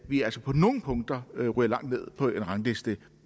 vi altså på nogle punkter ryger langt ned på en rangliste